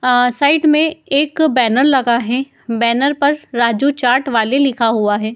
अ side में एक banner लगा है। बैनर पर राजू चाट वाले लिखा हुआ है।